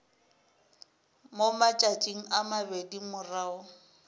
mo matšatšing a mabedi morago